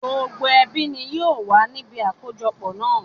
Gbogbo ẹbí ni yìí ó wà níbi àkójọpọ̀ náà